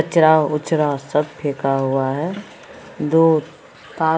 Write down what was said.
कचरा उचरा सब फेका हुआ है दो ता --